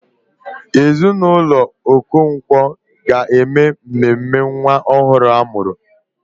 Ezinụlọ Okonkwo ga-eme mmemme nwa ọhụrụ a mụrụ.